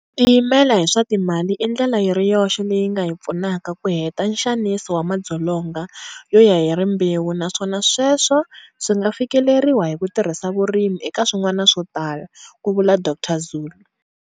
Ku tiyimela hi swa timali i ndlela yi ri yoxe leyi nga hi pfunaka ku heta nxaniso wa madzolonga yo ya hi rimbewu naswona sweswo swi nga fikeleriwa hi ku tirhisa vurimi, eka swin'wana swo tala, ku vula Dr Zulu.